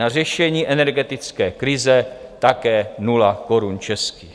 Na řešení energetické krize - také nula korun českých.